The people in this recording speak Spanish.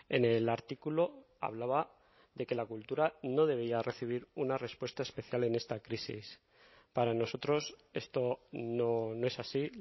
en el artículo hablaba de que la cultura no debería recibir una respuesta especial en esta crisis para nosotros esto no es así